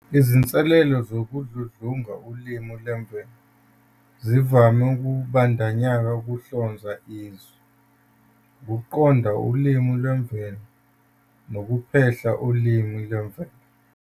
Izinselele zokudludlunga ulimi lwemvelo zivame ukubandakanya ukuhlonza izwi, ukuqonda ulimi lwemvelo, nokuphehla ulimi lwemvelo.